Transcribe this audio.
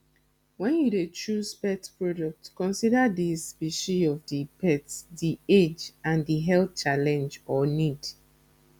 when you dey choose pet product consider di specie of di pet di age and di health challenge or need